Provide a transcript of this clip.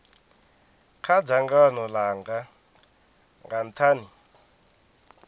kha dzangano langa nga nthani